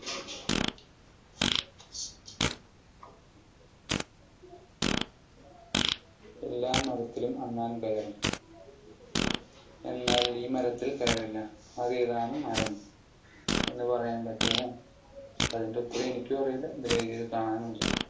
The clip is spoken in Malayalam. എല്ലാ മരത്തിലും അണ്ണാൻ കയറി, എന്നാൽ ഈ മരത്തിൽ കയറിയില്ല. അത് ഏതാണ് മരം എന്ന് പറയാൻ പറ്റുമോ? അതിൻ്റെ ഉത്തരം എനിക്കും അറിയില്ല. ഇതിൽ എഴുതിയത് കാണാനുമില്ല.